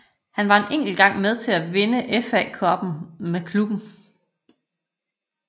Han var en enkelt gang med til at vinde FA Cuppen med klubben